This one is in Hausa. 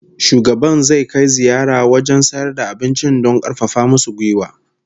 Shugaban zai kai ziyara wajen sayar da abincin don karfafa musu gwiwa